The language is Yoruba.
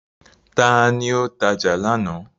Ta ni ó tajà lánàá.